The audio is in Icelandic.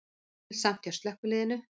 Erilsamt hjá slökkviliðinu